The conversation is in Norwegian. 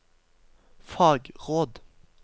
fagråd